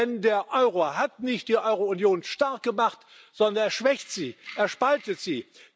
Denn der Euro hat nicht die Eurounion stark gemacht, sondern er schwächt sie, er spaltet sie.